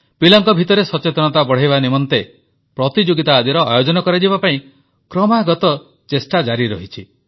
ପିଲାଙ୍କ ଭିତରେ ସଚେତନତା ବଢ଼ାଇବା ନିମନ୍ତେ ପ୍ରତିଯୋଗିତା ଆଦିର ଆୟୋଜନ କରାଯିବା ପାଇଁ କ୍ରମାଗତ ଚେଷ୍ଟା ଜାରି ରହିଛି